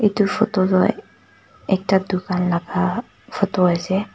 etu photo tu ek ekta dukan laga photo ase.